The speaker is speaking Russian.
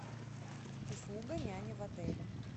услуга няни в отеле